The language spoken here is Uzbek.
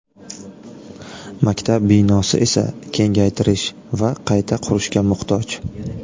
Maktab binosi esa kengaytirish va qayta qurishga muhtoj.